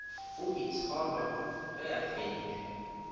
o itshola ge a fentšwe